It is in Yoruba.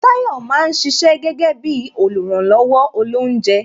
Tayọ máa ń ṣiṣẹ́ gẹ́gẹ́ bí oluranlowo olounje